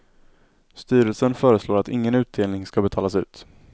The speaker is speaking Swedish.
Styrelsen föreslår att ingen utdelning ska betalas ut.